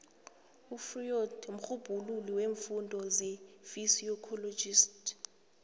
ufreud mrhubhululi weemfundo zepsychology